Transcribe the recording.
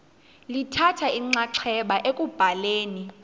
lithatha inxaxheba ekubhaleni